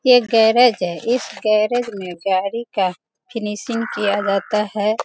ये गैरेज है इस गैरेज में गाड़ी का फिनिशिंग किया जाता है।